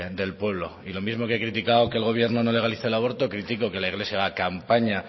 del pueblo y lo mismo que he criticado que el gobierno no legalice el aborto critico que la iglesia haga campaña